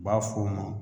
U b'a f'o ma